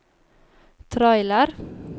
trailer